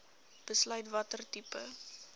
besluit watter tipe